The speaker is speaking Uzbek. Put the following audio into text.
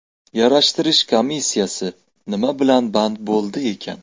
Yarashtirish komissiyasi nima bilan band bo‘ldi ekan?